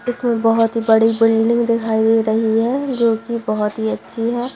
इसमें बहुत ही बड़ी बिल्डिंग दिखाई दे रही है जो कि बहुत ही अच्छी है।